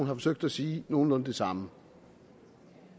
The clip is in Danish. har forsøgt at sige nogenlunde det samme